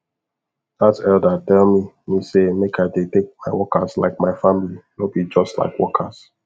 that elder tell me me say make i dey take my workers like my family no be just like workers